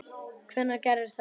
Hvenær gerðist þetta?